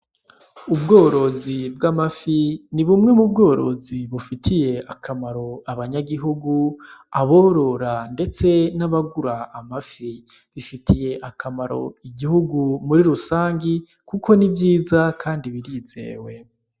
Ubworozi bw'amafi ni bumwe mu bworozi bufitiye akamaro abanyagihugu aborora, ndetse n'abagura amafi bifitiye akamaro igihugu muri rusangi, kuko ni vyiza, kandi birizewe.